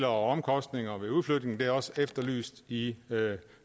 omkostninger ved udflytningen og det er også efterlyst i